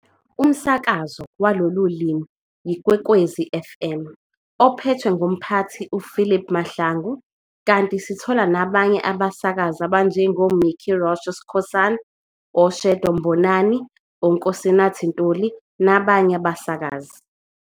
Umsakazo walolu limi yiKwekwezi fm, ophethwe ngumphathi uPhilip Mahlangu, kanti sithola nabanye abasakazi abanjengoMicky Rosh Skhosana, oShadow Mbonani, oKosinathi Ntuli nabanye abasakazi.